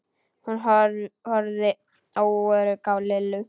Hún horfði óörugg á Lillu.